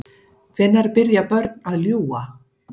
Hvenær byrja börn að ljúga?